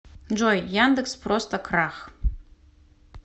джой яндекс просто крах